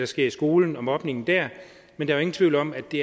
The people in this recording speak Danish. sker i skolen og mobningen der men der er ingen tvivl om at det